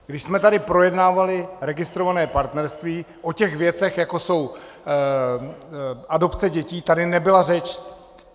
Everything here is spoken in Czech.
Když jsme tady projednávali registrované partnerství, o těch věcech, jako jsou adopce dětí, tady nebyla řeč.